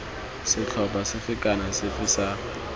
setlhopha sefe kana sefe sa